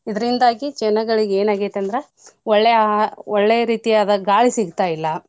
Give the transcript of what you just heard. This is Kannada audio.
ಇದ್ರಿಂದಾಗಿ ಜನಗಳಿಗ್ ಏನ್ ಆಗೇತ್ ಅಂದ್ರ ಒಳ್ಳೇ ಆಹಾ~ ಒಳ್ಳೇ ರೀತಿಯಾದ ಗಾಳಿ ಸಿಗ್ತಾ ಇಲ್ಲ.